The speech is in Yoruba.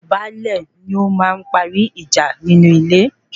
Baálé ní ó máa ń parí ìjà nínú ilé